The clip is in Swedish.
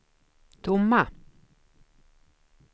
tomma